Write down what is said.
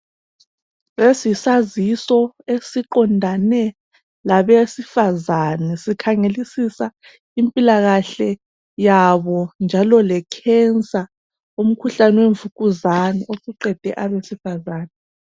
Lesi yisaziso esiqondane labesifazana sikhangelisisa impilakahle yabo njalo lekhensa umkhuhlane wemvukuzane osuqede abesifazana.